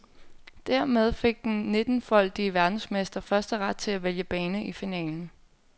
Dermed fik den nitten-foldige verdensmester førsteret til at vælge bane i finalen.